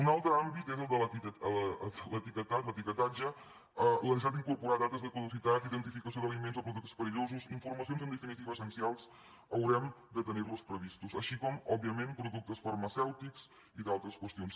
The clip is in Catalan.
un altre àmbit és el de l’etiquetatge la necessitat d’incorporar dates de caducitat identificació d’elements o productes perillosos informacions en definitiva essencials haurem de tenir la prevista i també òbviament productes farmacèutics i d’altres qüestions